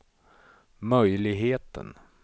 möjligheten